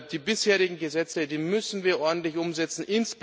Die bisherigen Gesetze müssen wir ordentlich umsetzen